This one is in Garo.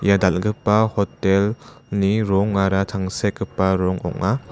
ia dalgipa hotel-ni rongara tangsekgipa rong ong·a.